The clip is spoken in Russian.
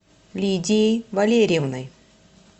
лидией валерьевной